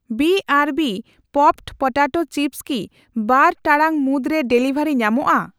ᱵᱤᱟᱨᱵᱤ ᱯᱚᱯᱰ potato chips ᱠᱤ ᱵᱟᱨ ᱴᱟᱲᱟᱝ ᱢᱩᱫᱽᱨᱮ ᱰᱮᱞᱤᱵᱷᱟᱨᱤ ᱧᱟᱢᱚᱜᱼᱟ ?